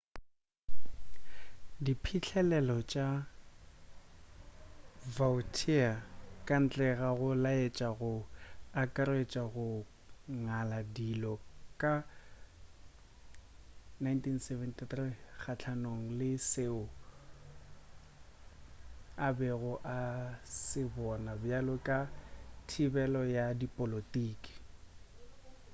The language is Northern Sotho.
diphihlelelo tša vautier kantle ga go laetša go akaretša go ngala dijo ka 1973 kgahlanong le seo a bego a se bona bjalo ka thibelo ya dipolotiki